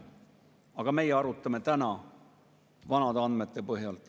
Aga meie arutame täna vanade andmete põhjal.